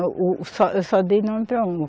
O, o, eu só, eu só dei nome para uma.